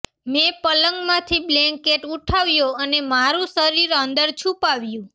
મેં પલંગમાંથી બ્લેન્કેટ ઉઠાવ્યો અને મારું શરીર અંદર છુપાવ્યું